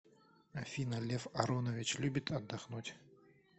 афина лев аронович любит отдохнуть